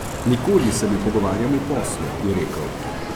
Nikoli se ne pogovarjam o poslu, je rekel.